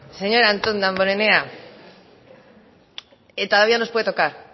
señor antón damborenea que todavía día nos puede tocar